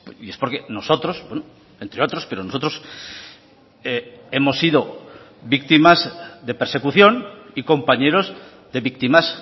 y es porque nosotros entre otros pero nosotros hemos sido víctimas de persecución y compañeros de víctimas